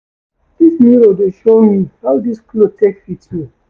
Dis mirror dey show me how dis cloth take fit me.